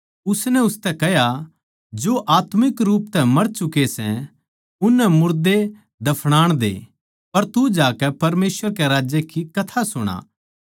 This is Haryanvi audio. उसनै उसतै कह्या जो आत्मिक रूप तै मर चुके सै उननै मुर्दे दफनान दे पर तू जाकै परमेसवर कै राज्य की कथा सुणा